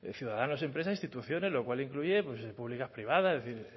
ciudadanos empresas instituciones lo cual incluye públicas privadas es decir